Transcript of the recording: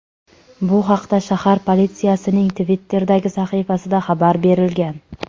Bu haqda shahar politsiyasining Twitter’dagi sahifasida xabar berilgan .